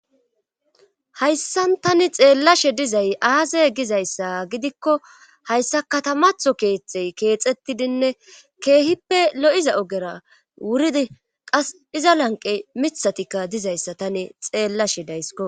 hayssan tani xeellashe dizay aase gizayssa gidikko hayssa katamatho Keexey keexettidinne keehippe lo'iza ogera wuridi qas iza lanqe mithatikka dizayssa tani xeellashe daysko.